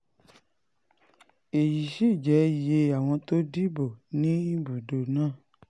èyí sì jẹ́ iye àwọn tó dìbò ní ibùdó náà